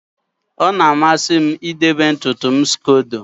ọ na-amasị m idebe ntutu m scodo